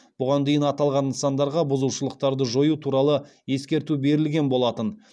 бұған дейін аталған нысандарға бұзушылықтарды жою туралы ескерту берілген болатын